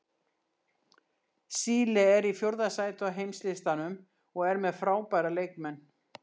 Síle er í fjórða sæti á heimslistanum og er með frábæra leikmenn.